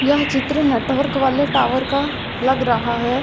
यह चित्र नेटवर्क वाले टॉवर का लग रहा है।